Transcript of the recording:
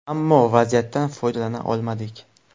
Ammo vaziyatdan foydalana olmadik.